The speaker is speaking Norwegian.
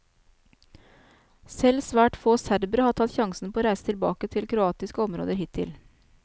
Selv svært få serbere har tatt sjansen på å reise tilbake til kroatiske områder hittil.